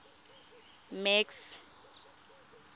max